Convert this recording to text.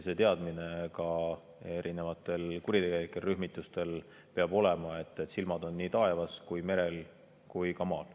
See teadmine peab erinevatel kuritegelikel rühmitustel olema, et silmad on nii taevas, merel kui ka maal.